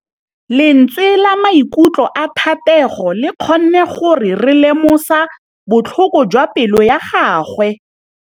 Lentswe la maikutlo a Thategô le kgonne gore re lemosa botlhoko jwa pelô ya gagwe.